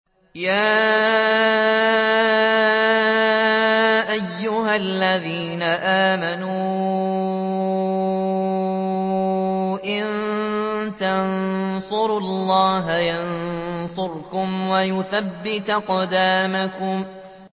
يَا أَيُّهَا الَّذِينَ آمَنُوا إِن تَنصُرُوا اللَّهَ يَنصُرْكُمْ وَيُثَبِّتْ أَقْدَامَكُمْ